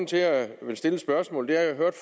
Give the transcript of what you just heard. til at jeg vil stille et spørgsmål er at jeg hørte